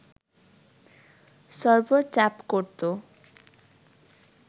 server tap করতো